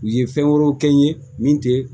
U ye fɛn wɛrɛw kɛ n ye min tɛ